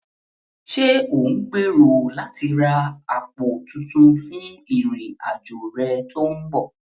Ṣé ò ń gbèrò láti ra àpò tuntun fún ìrìn-àjò rẹ tó ń bọ̀?